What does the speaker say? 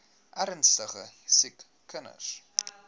ernstige siek kinders